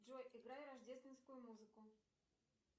джой играй рождественскую музыку